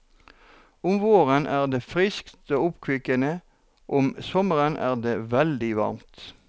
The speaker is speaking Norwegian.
Om våren er det friskt og oppkvikkende, om sommeren er det veldig varmt.